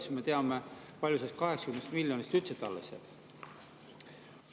Siis me teame, kui palju sellest 80 miljonist üldse alles jääb?